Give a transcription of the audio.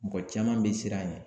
Mɔgɔ caman bɛ siran a ɲɛ